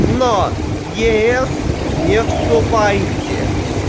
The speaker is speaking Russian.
но в е с не вступайте